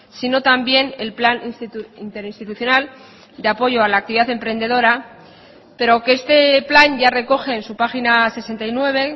sino también el plan interinstitucional de apoyo a la actividad emprendedora pero que este plan ya recoge en su página sesenta y nueve